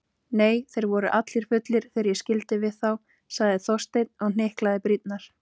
Nei, þeir voru allir fullir þegar ég skildi við þá- sagði Þorsteinn og hnyklaði brýnnar.